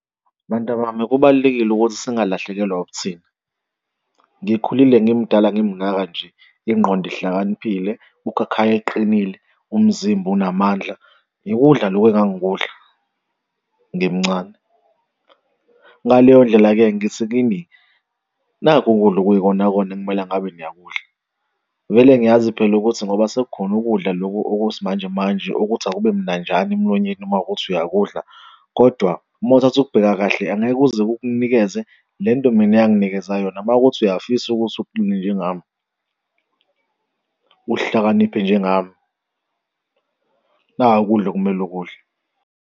Bantabami, kubalulekile ukuthi singalahlekelwa ubuthina. Ngikhulile ngimdala ngimngaka nje ingqondo ihlakaniphile, ukhakhayi uqinile, umzimba unamandla, ngokudla loku engangikudla ngimncane. Ngale yondlela-ke ngithi kini nakhu ukudla okuyikonakona ekumele ngabe niyakudla. Vele ngiyazi phela ukuthi ngoba sekukhona ukudla lokhu okwesimanje manje okuthi akube mnanjana emlonyeni uma kuwukuthi uyakudlula, kodwa mowuthatha ukubheka kahle, angeke uze kukunikeze lento mina eyanginikeza yona makuwukuthi uyafisa ukuthi uqine njengami, uhlakaniphe njengami naku ukudla okumele ukudla.